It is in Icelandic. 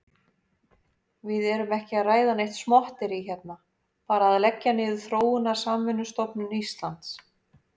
Við erum ekki að ræða neitt smotterí hérna, bara að leggja niður Þróunarsamvinnustofnun Íslands.